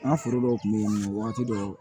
An ka foro dɔw kun be yen wagati dɔw